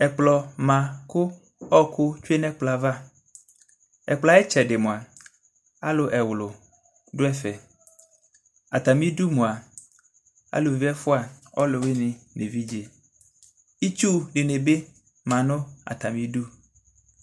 ɛkplɔ ma kʋ ɔkʋ twè nʋ ɛkplɔɛ aɣa, ɛkplɔɛ ayi itsɛdi mʋa alʋ ɛwlʋ dʋ ɛƒɛ, atami idʋ mʋa alʋvi ɛƒʋa ɔlʋwini nʋ ɛvidzɛ itsʋ dini bi manʋ atami idʋ